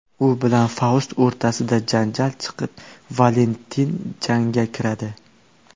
U bilan Faust o‘rtasida janjal chiqib, Valentin jangga kiradi.